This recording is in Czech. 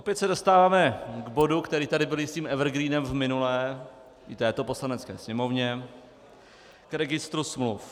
Opět se dostáváme k bodu, který tady byl jistým evergreenem v minulé i v této Poslanecké sněmovně, k registru smluv.